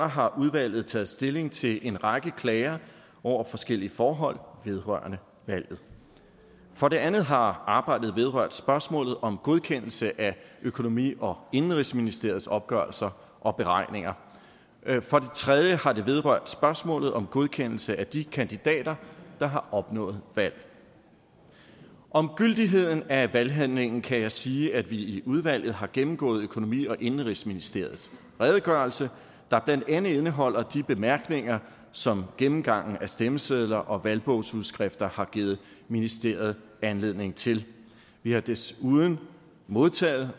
har udvalget taget stilling til en række klager over forskellige forhold vedrørende valget for det andet har arbejdet vedrørt spørgsmålet om godkendelse af økonomi og indenrigsministeriets opgørelser og beregninger for det tredje har det vedrørt spørgsmålet om godkendelse af de kandidater der har opnået valg om gyldigheden af valghandlingen kan jeg sige at vi i udvalget har gennemgået økonomi og indenrigsministeriets redegørelse der blandt andet indeholder de bemærkninger som gennemgangen af stemmesedler og valgbogsudskrifter har givet ministeriet anledning til vi har desuden modtaget